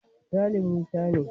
Sale Musa ne.